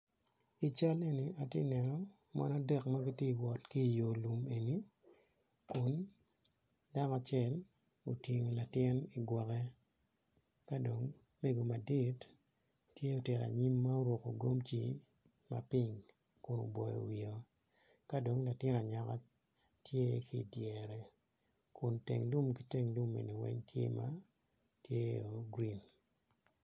I cal eni atye ka neno mon adek ma gitye ka wot ki i yo lum eni kun dako acel otingo latin i gwoke ka dong mego madit tye otelo ayim ma oruko gomci ma pink kun oboyo wiye ka dong latin anyaka tye ki i dyere kun tyeng lum weng tye ma green.